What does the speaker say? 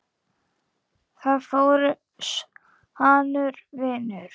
Þar fór sannur vinur.